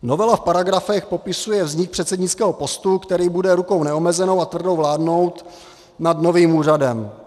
Novela v paragrafech popisuje vznik předsednického postu, který bude rukou neomezenou a tvrdou vládnout nad novým úřadem.